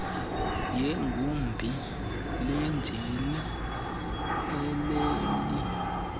yegumbi lenjini ileli